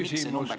Küsimus, paluks!